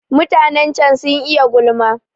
Mutanen can sun iya gulma